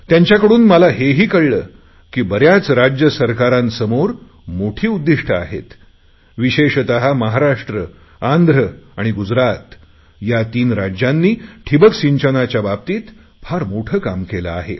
त्यांच्याकडून मला हेही कळले की बऱ्याच राज्यांसमोर मोठी उद्दिष्टे आहेत विशेषत महाराष्ट्र आंध्र आणि गुजरात या तीन राज्यांनी ठिंबक सिंचनाच्या बाबतीत फार मोठे काम केले आहे